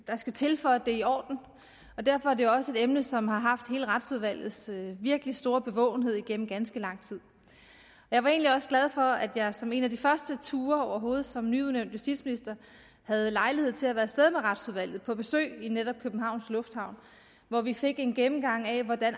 der skal til for at det er i orden og derfor er det også et emne som har haft hele retsudvalgets virkelig store bevågenhed igennem ganske lang tid jeg var egentlig også glad for at jeg som en af de første ture overhovedet som nyudnævnt justitsminister havde lejlighed til at være af sted med retsudvalget på besøg i netop københavns lufthavn hvor vi fik en gennemgang af hvordan